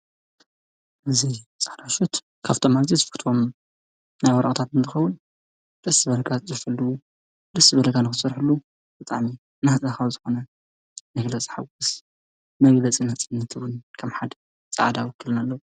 እዘይ ፃራሸት ካብቶማዘ ዝፍኽትም ናይ ወርቕታት እንትኸዉን ርስ በለጋት ዘፈልዉ ልስ በለጋንኽሠርሕሉ ብጣሜ ናህፃኻ ዝኾነ ነግለ ጽ ሓዉስ መጊለ ጺነ ጽንትብን ከም ሓድ ፃዕዳ ውክልኒ ኣለዉ::